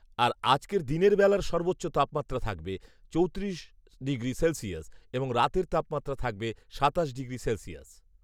আর আজকের দিনের বেলার সর্বোচ্চ তাপমাত্রা থাকবে চৌত্রিশ সেলসিয়াস এবং রাতের তাপমাত্রা থাকবে সাতাশ ডিগ্রি সেলসিয়াস